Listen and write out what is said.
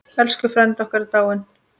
Elsku frændi okkar er dáinn.